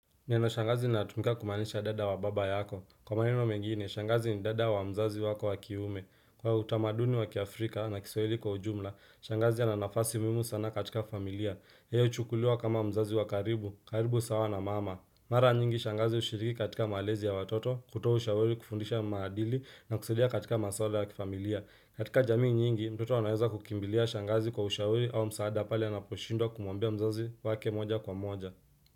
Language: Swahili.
Neno shangazi linatumika kumaanisha dada wa baba yako. Kwa maneno mengi ni shangazi ni dada wa mzazi wako wa kiume. Kwa utamaduni waki Afrika na kisawili kwa ujumla, shangazi ana nafasi muhimu sana katika familia. Yeye huchukuliwa kama mzazi wa karibu, karibu sawa na mama. Mara nyingi shangazi ushiriki katika malezi ya watoto, kutoa ushauri kufundisha maadili na kusaidia katika maswala ya kifamilia. Katika jamii nyingi, mtoto anaweza kukimbilia shangazi kwa ushauri au msaada pale anaposhindwa kumwambia mzazi wake moja kwa moja.